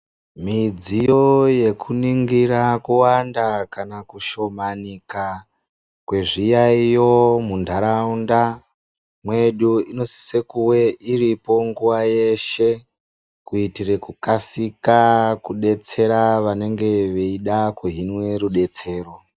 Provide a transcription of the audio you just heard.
Midziyo yekuningira kuwanda kana kushomanika kwezviyaiyo munharaunda mwedu inosise kunge iripo nguwa dzese kuitire kukasika vanenge veida kuhinwe rudetsero.